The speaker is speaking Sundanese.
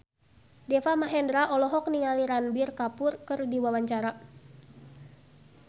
Deva Mahendra olohok ningali Ranbir Kapoor keur diwawancara